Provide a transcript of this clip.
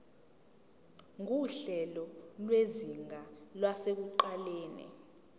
nguhlelo lwezinga lasekuqaleni